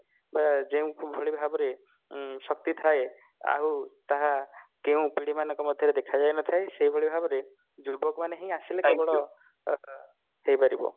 ଅ ଯୋଉଁ ଭଳି ଭାବରେ ଉଁ ଶକ୍ତି ଥାଏ ଆଉ ତାହା କେଉଁ ପିଢୀ ମାନଙ୍କ ମଧ୍ୟରେ ଦେଖାଯାଇ ନଥାଏ ସେଇଭଳି ଭାବରେ ଯୁବକ ମାନେ ହିଁ ହେଇପାରିବ